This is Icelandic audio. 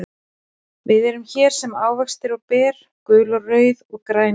Við erum hér sem ávextir og ber, gul og rauð og græn í kór.